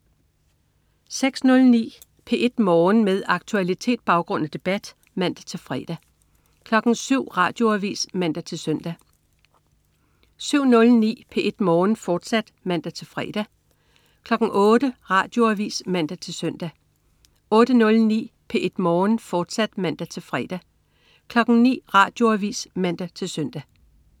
06.09 P1 Morgen. Med aktualitet, baggrund og debat (man-fre) 07.00 Radioavis (man-søn) 07.09 P1 Morgen, fortsat (man-fre) 08.00 Radioavis (man-søn) 08.09 P1 Morgen, fortsat (man-fre) 09.00 Radioavis (man-søn)